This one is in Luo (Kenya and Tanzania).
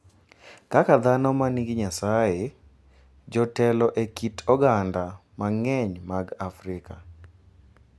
Kaka dhano ma nigi Nyasaye, jotelo e kit oganda mang’eny mag Afrika,